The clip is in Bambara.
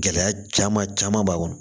Gɛlɛya caman caman b'a kɔnɔ